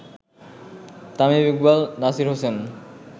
Tamim Iqbal, Nasir Hossain